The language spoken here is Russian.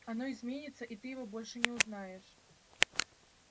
оно изменится и ты его больше не узнаешь